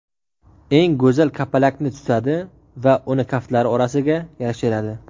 eng go‘zal kapalakni tutadi va uni kaftlari orasiga yashiradi.